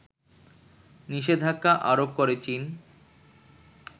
নিষেধাজ্ঞা আরোপ করে চীন